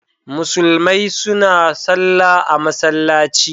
Musulmai suna sallah a masallaci.